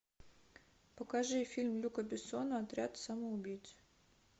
покажи фильм люка бессона отряд самоубийц